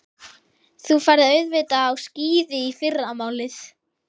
Þú ferð auðvitað á skíði í fyrramálið.